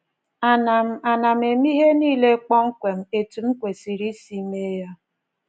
Ana m Ana m eme ihe nile kpọmkwem etu m kwesịrị isi mee ya?'